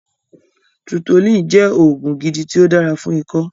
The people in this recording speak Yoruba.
Tutolin jẹ́ oògùn gidi ti o dára fún ikó